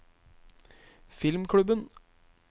filmklubben